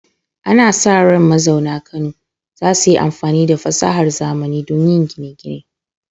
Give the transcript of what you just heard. Ana sa ran mazauna Kano za su yi amfani da fasahar zamani don yin gine-gine.